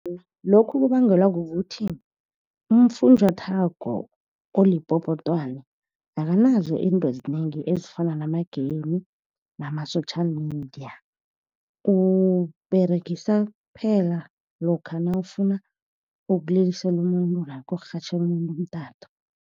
Lokhu kubangelwa kukuthi ufunjathwako olipopotwana akanazo izinto ezinengi ezifana nama-game, nama-social media. Uwuberegisa kuphela lokha nawufuna ukulilisela umuntu, namkha ukurhatjhela umuntu umtato.